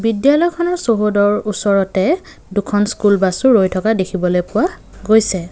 বিদ্যালয়খনৰ চৌহদৰ ওচৰতে দুখন স্কুল বাছো ৰৈ থকা দেখিবলৈ পোৱা গৈছে।